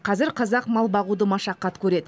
қазір қазақ мал бағуды машақат көреді